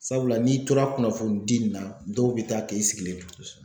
Sabula n'i tora kunnafoni di nin na dɔw bɛ taa kɛ i sigilen to